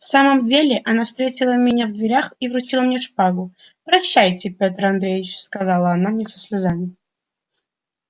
в самом деле она встретила меня в дверях и вручила мне шпагу прощайте петр андреич сказала она мне со слезами